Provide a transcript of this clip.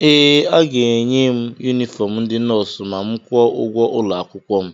ee, aga-enye m yunifọm ndị nọọsụ ma m kwụọ ụgwọ akwụkwọ m